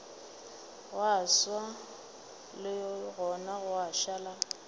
gwa swa legong gwa šala